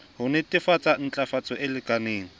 ho netefatsa ntlafatso e lekaneng